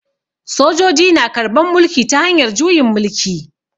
Sojoji na karban mulki ta hanyar juyin mulki.